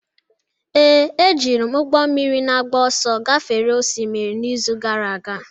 Ee, ejiri m ụgbọ mmiri na-agba ọsọ gafere osimiri n'izu gara aga